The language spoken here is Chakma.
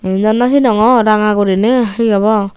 iyen do no sinongor ranga gurine he obo.